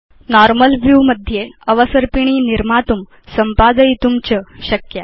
normal view मध्ये अवसर्पिणी निर्मातुं संपादयितुं च शक्या